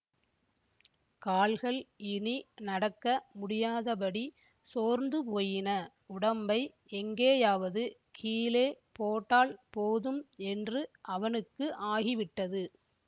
கால்கள் இனி நடக்க முடியாதபடி சோர்ந்துபோயின உடம்பை எங்கேயாவது கீழே போட்டால் போதும் என்று அவனுக்கு ஆகிவிட்டது